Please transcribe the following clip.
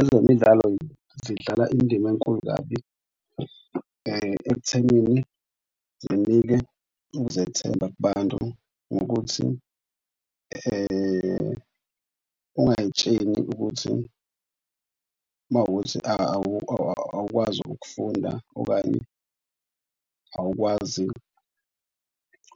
Ezemidlalo zidlala indima enkulu kabi ekuthenini zinike ukuzethemba kubantu ngokuthi ungay'tsheni ukuthi uma kuwukuthi awukwazi ukufunda okanye awukwazi